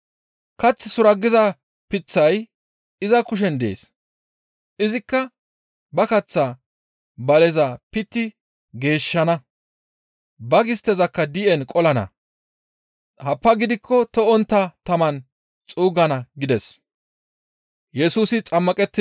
Kath suraggiza layday iza kushen dees; izikka ba kaththa baleza pitti geeshshana; ba gisttezakka di7en qolana; happaa gidikko to7ontta taman xuuggana» gides. Kath suraggiza layda